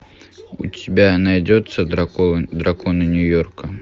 у тебя найдется драконы нью йорка